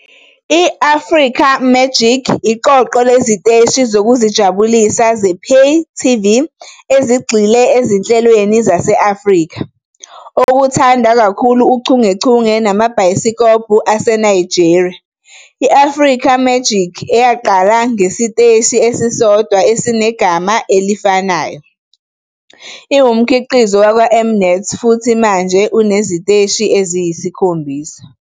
I-Africa Magic iqoqo leziteshi zokuzijabulisa zePay TV ezigxile ezinhlelweni zase-Afrika, okuthandwa kakhulu uchungechunge namabhayisikobho aseNigeria "I-Africa Magic", eyaqala njengesiteshi esisodwa esinegama elifanayo, iwumkhiqizo wakwaM-Net futhi manje uneziteshi eziyisikhombisa.